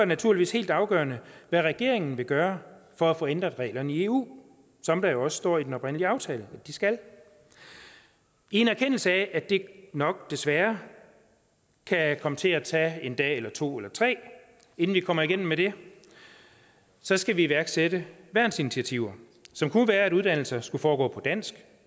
naturligvis helt afgørende hvad regeringen vil gøre for at få ændret reglerne i eu som der jo også står i den oprindelige aftale at de skal i en erkendelse af at det nok desværre kan komme til at tage en dag eller to eller tre inden vi kommer igennem med det så skal vi iværksætte værnsinitiativer som kunne være at uddannelser skal foregå på dansk